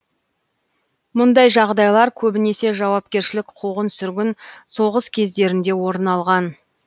мұндай жағдайлар көбінесе жаугершілік қуғын сүргін соғыс кездерінде орын алған